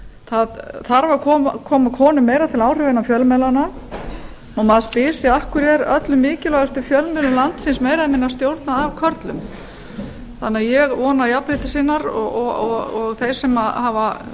það þarf að koma konum meira til áhrifa inn á fjölmiðlana og maður spyr af hverju er öllum mikilvægustu fjölmiðlum landsins meira eða minna stjórnað af körlum þannig að ég vona að